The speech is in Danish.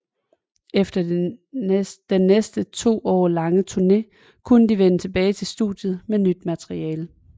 Efter den næsten to år lange turné kunne de vende tilbage til studiet med nyt materiale